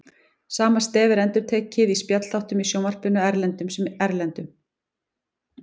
Sama stef er endurtekið í spjallþáttum í sjónvarpinu, innlendum sem erlendum.